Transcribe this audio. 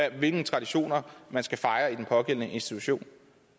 og hvilke traditioner man skal fejre i den pågældende institution